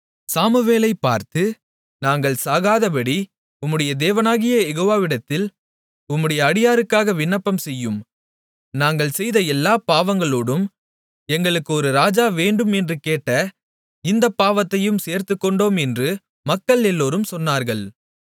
சாமுவேலைப் பார்த்து நாங்கள் சாகாதபடி உம்முடைய தேவனாகிய யெகோவாவிடத்தில் உம்முடைய அடியாருக்காக விண்ணப்பம் செய்யும் நாங்கள் செய்த எல்லாப் பாவங்களோடும் எங்களுக்கு ஒரு ராஜா வேண்டும் என்று கேட்ட இந்தப் பாவத்தையும் சேர்த்துக்கொண்டோம் என்று மக்கள் எல்லோரும் சொன்னார்கள்